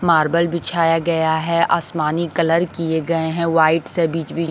marble बिछाया गया है आसमानी कलर किए गए हैं व्हाइट से बीच-बीच--